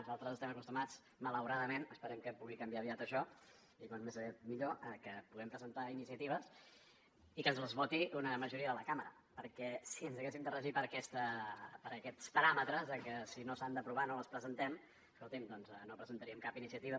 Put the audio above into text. nosaltres hi estem acostumats malauradament esperem que pugui canviar aviat això i com més aviat millor que puguem presentar iniciatives i que ens les voti una majoria de la cambra perquè si ens haguéssim de regir per aquests paràmetres de si no s’han d’aprovar no les presentem escoltin doncs no presentaríem cap iniciativa